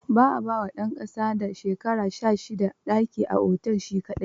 Ba a ba wa ɗan ƙasa da shekara sha shida daki a otel shi kaɗai.